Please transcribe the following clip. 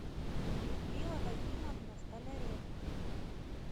людмила вагимовна столяренко